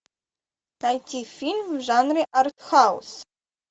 найти фильм в жанре артхаус